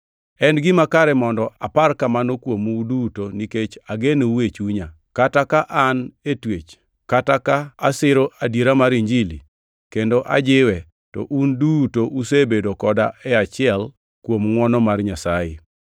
En gima kare mondo apar kamano kuomu uduto nikech agenou e chunya; kata ka an e twech kata ka asiro adiera mar Injili kendo ajiwe to un uduto usebedo koda e achiel kuom ngʼwono mar Nyasaye.